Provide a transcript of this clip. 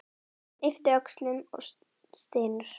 Hann ypptir öxlum og stynur.